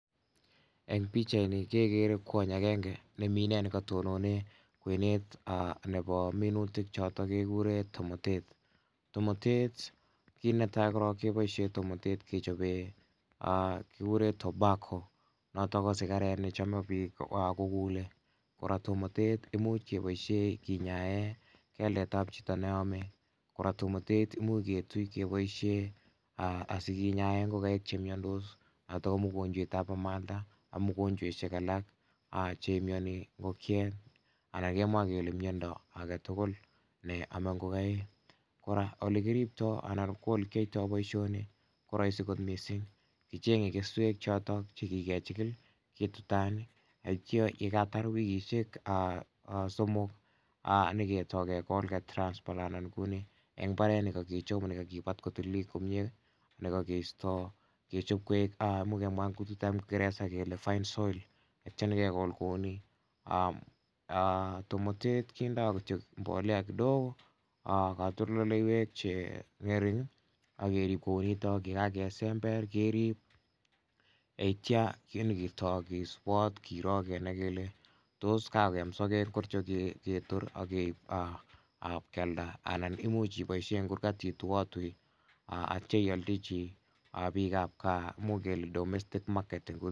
Eng' pichaini kekere kwony agenge ne mi ine ne katonone kwenet nepo minutik chotok kikure tomatet. Tomatet kiit ne tai korok kepoishe tomatet kechope kikure tobacco notok sigaret ne chame piik kokulei. Kora tomatet imuch kepoishe kinyae keldet ap chito ne ame. Kora tomatet imuch ketui sikepooshe asikinyae ngokaik che miandos notok ko mogonchwetap amalda ak mogonchweshek alak chemiani ngokiet. Anan kemwae kele miondo age tugul ne name ngokaik. Kora ole kiriptoi ala ko ole kiyaitai poishoni ko raisi missing'. Kicheng'e keswek chotok che kikechikil tatiam ye katar wikishek somok nyi ketai kekol ketai ketransplantan kou ni , eng' mbaret ne kakichop ne kailkipat kotililit komye, kechop koek, imuch kemwa eng' kutitap kingeresa kele fine soil tetya nyi kekol kou ni. Tomatet kindoi kityo mbolea kidogo, katoltoleiwek che ng'ering', ak kerip kou nitok. Ye kakesember kerip yetya nyi ketae kisupat kiro kele tos kakoyam sakeek ngircho ketor ak keip ip kealda anan imuch ipoishe eng' kurgat ituiatui tetya ialdachi piik ap gaa, imuch kele domestic market.